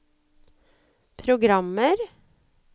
programmer